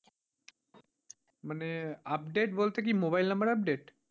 মানে update বলতে কি mobile number update